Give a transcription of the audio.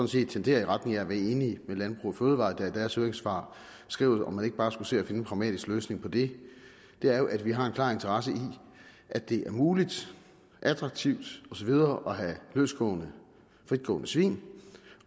set tenderer i retning af at være enige med landbrug fødevarer der i deres høringssvar skriver om man ikke bare skulle se at finde en pragmatisk løsning på det er jo at vi har en klar interesse i at det er muligt attraktivt og så videre at have løstgående fritgående svin